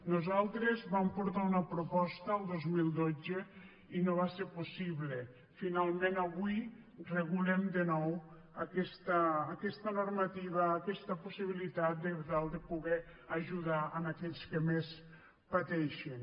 nosaltres vam portar una proposta el dos mil dotze i no va ser possible finalment avui regulem de nou aquesta normativa aquesta possibilitat per tal de poder ajudar aquells que més pateixen